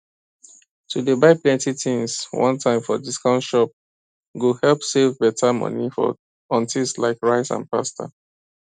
to dey buy plenty things one time for discount shop go help save better money on thiings like rice and pasta